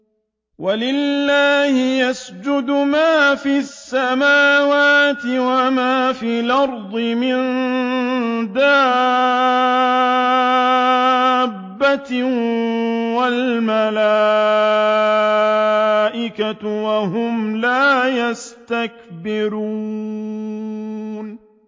وَلِلَّهِ يَسْجُدُ مَا فِي السَّمَاوَاتِ وَمَا فِي الْأَرْضِ مِن دَابَّةٍ وَالْمَلَائِكَةُ وَهُمْ لَا يَسْتَكْبِرُونَ